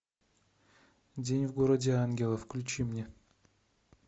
день в городе ангелов включи мне